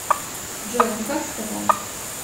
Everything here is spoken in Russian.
джой ну как сказать